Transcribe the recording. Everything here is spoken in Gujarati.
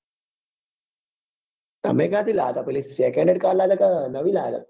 તમે ક્યાં થી લાવ્યા તા પેલી second hand car લાવ્યા તા ક નવી લાવ્યા તા